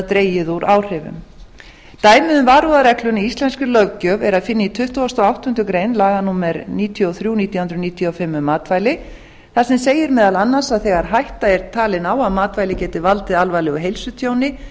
dregið úr áhrifum dæmið um varúðarregluna í íslenskri löggjöf er að finna í tuttugasta og áttundu grein laga númer níutíu og þrjú nítján hundruð níutíu og fimm um matvæli þar sem segir meðal annars að þegar hætta er talin á að matvæli geti valdið alvarlegu heilsutjóni